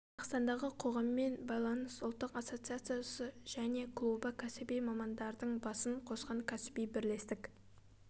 қазақстандағы қоғаммен байланыс ұлттық ассоциациясы және клубы кәсіби мамандардың басын қосқан кәсіби бірлестік